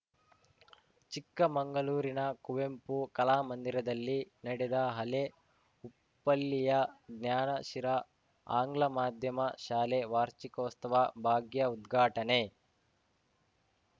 ಚಿಕ್ಕಮಂಗಳೂರಿನ ಕುವೆಂಪು ಕಲಾಮಂದಿರದಲ್ಲಿ ನಡೆದ ಹಳೇ ಉಪ್ಪಳ್ಳಿಯ ಜ್ಞಾನಶಿರಾ ಆಂಗ್ಲ ಮಾಧ್ಯಮ ಶಾಲೆಯ ವಾರ್ಷಿಕೋಸ್ತವ ಭಾಗ್ಯ ಉದ್ಘಾಟನೆ